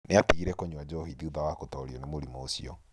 Nĩ aatigire kũnyua njohi thutha wa gũtoorio nĩ mũrimũ ũcio.